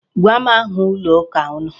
Gwa m aha ụlọ ụka unu.